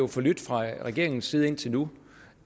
forlydt fra regeringens side indtil nu